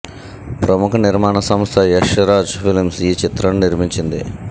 ప్రముఖ నిర్మాణ సంస్థ యష్ రాజ్ ఫిల్మ్స్ ఈ చిత్రాన్ని నిర్మించింది